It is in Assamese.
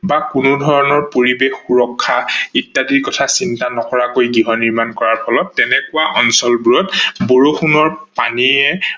বা কোনো ধৰনৰ পৰিবেশ সুৰক্ষা ইত্যাদিৰ কথা চিন্তা নকৰাকৈ গৃহ নিৰ্মান কৰাৰ ফলত তেনেকোৱা অঞ্চল বোৰত বৰষুনৰ পানীয়ে